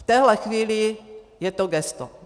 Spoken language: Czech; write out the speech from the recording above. V téhle chvíli je to gesto.